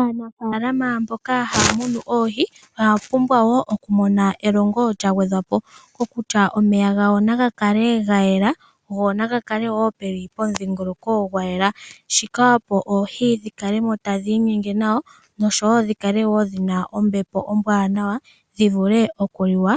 Aanafaalama mboka haya munu oohi oya pumbwa wo okumona elongo lya gwedhwa po, mwa kwatelwa kutya omeya gawo naga kale ga yela go naga kale wo ge li pomudhingoloko gwa yela. Shika opo oohi dhi kale mo tadhi inyenge nawa nosho wo dhi kale wo dhi na ombepo ombwaanawa, dhi vule okuliwa